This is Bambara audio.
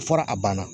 A fɔra a banna